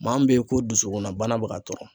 Maa min bɛ ye ko dusukunnabana bɛ ka tɔrɔ.